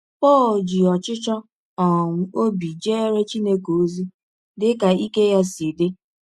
Pọl ji ọchịchọ um ọbi jeere Chineke ọzi dị ka ike ya si dị